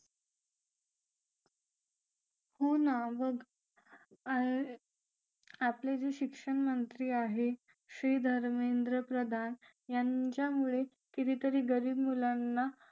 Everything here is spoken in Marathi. हो ना बघ आपले जे शिक्षण मंत्री आहेत श्री धर्मेंद्र प्रधान यांच्यामुळेच कितीतरी गरीब मुलांना